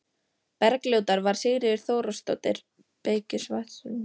Bergljótar var Sigríður Þóroddsdóttir, beykis á Vatneyri.